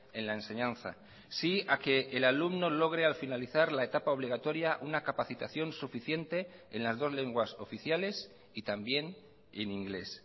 en la enseñanza sí a que el alumno logre al finalizar la etapa obligatoria una capacitación suficiente en las dos lenguas oficiales y también en inglés